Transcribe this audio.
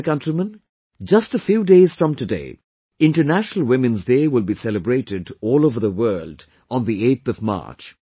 My dear countrymen, just a few days from today, International Women's Day will be celebrated all over the world on 8th of March